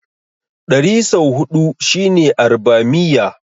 Ɗari sau huɗu shine Arbamiyya.